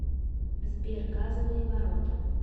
сбер газовые ворота